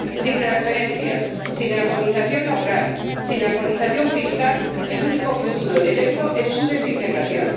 Sin transferencias, sin armonización laboral, sin armonización fiscal, el único futuro del euro es su desintegración.